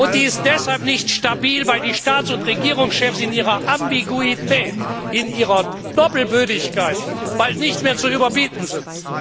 Die ist deshalb nicht stabil, weil die Staats und Regierungschefs in ihrer Ambiguität, in ihrer Doppelbödigkeit bald nicht mehr zu überbieten sind.